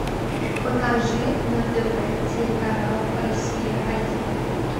покажи на тв телеканал россия один